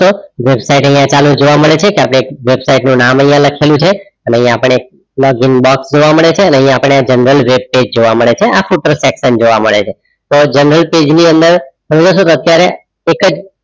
જોવા મળે છે કે આપણે એક વેબસાઈટનું નામ અહીંયા લખેલું છે અને અહીંયા આપણને login box જોવા મળે છે અને આપણે general webpage જોવા મળે છે આખું parception જોવા મળે છે તો general page ની અંદર અત્યારે એક જ